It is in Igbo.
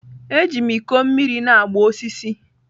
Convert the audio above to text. Eji m ikọ mmiri na-agba osisi.